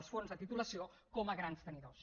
els fons de titulació com a grans tenidors